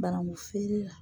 Banankun feere la